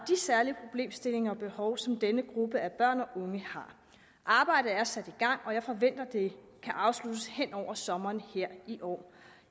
særlige problemstillinger og behov som denne gruppe af børn og unge har arbejdet er sat i gang og jeg forventer at det kan afsluttes hen over sommeren her i år